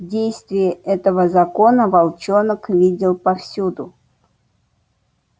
действие этого закона волчонок видел повсюду